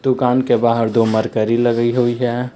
दुकान के बाहर दो मरकरी लगी हुई है।